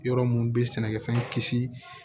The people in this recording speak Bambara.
Yɔrɔ mun be sɛnɛkɛfɛn kisi